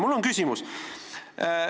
Mul on küsimus.